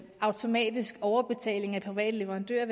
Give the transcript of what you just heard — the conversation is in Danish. automatisk overbetaling af private leverandører